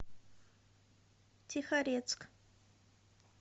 тихорецк